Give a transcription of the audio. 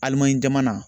Alimanɲi jamana